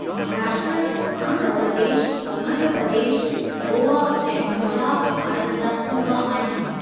महाराष्ट्र, आंध्र प्रदेश, मध्य प्रदेश, गोआ ऐं पंजाब भारत जा सूबा आहिनि।